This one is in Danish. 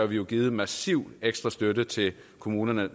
vi givet massiv ekstra støtte til kommunerne